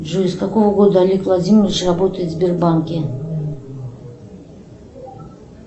джой с какого года олег владимирович работает в сбербанке